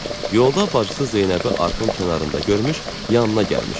Yolda bacısı Zeynəbi arxın kənarında görmüş, yanına gəlmişdi.